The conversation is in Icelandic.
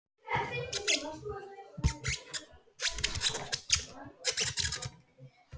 Klukkan sjö líka.